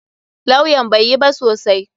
Lawyan bai yi ba sosai.